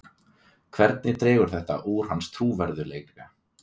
Hvernig dregur þetta úr hans trúverðugleika?